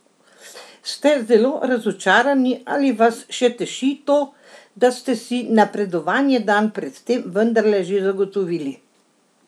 Ste zelo razočarani ali vas še teši to, da ste si napredovanje dan pred tem vendarle že zagotovili?